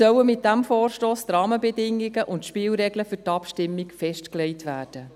Jetzt sollen mit diesem Vorstoss die Rahmenbedingungen und die Spielregeln für die Abstimmung festgelegt werden.